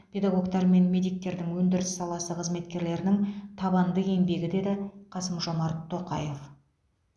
педагогтар мен медиктердің өндіріс саласы қызметкерлерінің табанды еңбегі деді қасым жомарт тоқаев